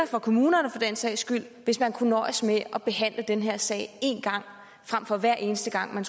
for kommunerne for den sags skyld hvis man kunne nøjes med at behandle den her sag én gang frem for hver eneste gang